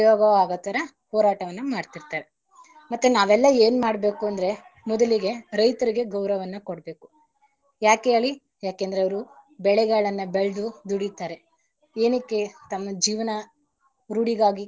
ಅವರಿಗೆ ಉಪಯೋಗವಾಗೋತರ ಹೋರಟವನ್ನ ಮಾಡ್ತರ್ತಾರೆ ಮತ್ತೆ ನಾವೆಲ್ಲ ಏನ್ ಮಾಡ್ಬೇಕು ಅಂದ್ರೆ ಮೊದಲಿಗೆ ರೈತರಿಗೆ ಗೌರವವನ್ನ ಕೊಡಬೇಕು ಯಾಕೆ ಹೇಳಿ? ಯಾಕಂದ್ರೆ ಅವರು ಬೆಳೆಗಳನ್ನ ಬೆಳೆದು ದುಡಿತಾರೆ ಏನಿಕೆ ತಮ್ಮ ಜೀವನ.